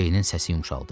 Ceynin səsi yumşaldı.